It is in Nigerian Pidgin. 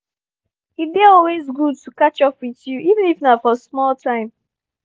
e dey always good to catch up with you even if na for small time